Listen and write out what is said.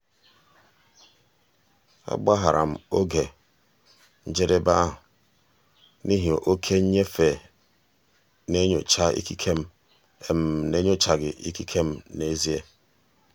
agbaghara m oge njedebe ahụ n'ihi oke nnyefe n'enyochaghị ikike m n'enyochaghị ikike m n'ezie.